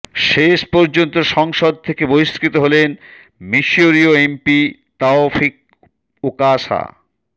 শেষ পর্যন্ত সংসদ থেকে বহিস্কৃত হলেন মিশরীয় এমপি তাওফিক ওকাশা